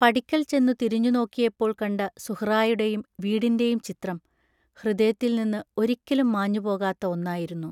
പടിക്കൽ ചെന്നു തിരിഞ്ഞുനോക്കിയപ്പോൾ കണ്ട സുഹ്റായുടെയും വീടിന്റെയും ചിത്രം ഹൃദയത്തിൽ നിന്ന് ഒരിക്കലും മാഞ്ഞുപോകാത്ത ഒന്നായിരുന്നു.